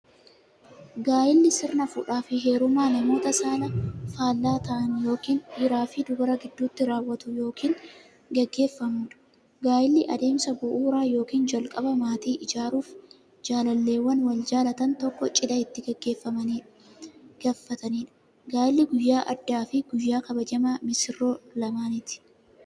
Gaa'illi sirna fuudhaaf heerumaa namoota saala faallaa ta'an yookiin dhiiraf dubara gidduutti raawwatu yookiin gaggeeffamuudha. Gaa'illi adeemsa bu'uuraa yookiin jalqabaa maatii ijaaruuf, jaalalleewwan wal jaalatan tokko cidha itti gaggeeffatamiidha. Gaa'illi guyyaa addaafi guyyaa kabajamaa missiroota lamaaniiti.